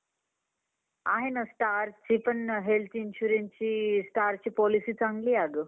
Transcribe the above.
आणि खुप तब्बेत खराब झालेली होती आणि खूप पाऊस पडतात पावसाळ्यात या मौसमध्ये खूप पाऊस पडतात गांवमध्ये